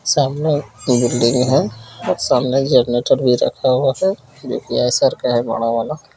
सामने एक बिल्डिंग है सामने एक जनरेटर भी रखा हुआ है जो कि का है बड़ा वाला।